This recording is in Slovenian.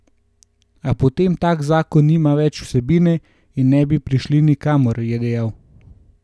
A potem tak zakon nima več vsebine in ne bi prišli nikamor, je dejal.